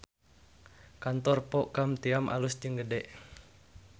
Kantor Po Ka Tiam alus jeung gede